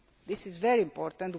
agreements this is very